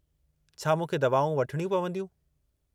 छा मूंखे दवाऊं वठणियूं पवंदियूं?